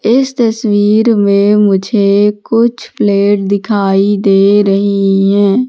इस तस्वीर में मुझे कुछ प्लेट दिखाई दे रही है।